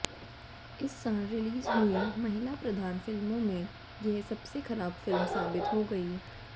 इस साल रिलीज हुई महिला प्रधान फिल्मों में यह सबसे खराब फिल्म साबित हो गई